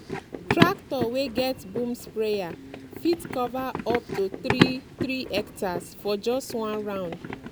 tractor wey get boom sprayer fit cover up to three three hectares for just one round.